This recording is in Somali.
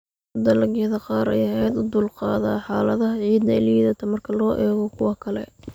Dalagyada qaar ayaa aad uga dulqaada xaaladaha ciidda liidata marka loo eego kuwa kale.